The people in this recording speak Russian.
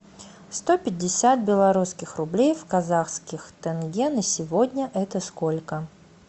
сто пятьдесят белорусских рублей в казахских тенге на сегодня это сколько